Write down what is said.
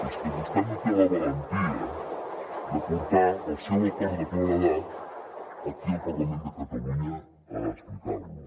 és que vostè no té la valentia de portar el seu acord de claredat aquí al parlament de catalunya a explicar lo